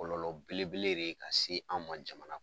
Kɔlɔlɔ belebele de ye ka se an man an ka jamana kɔnɔ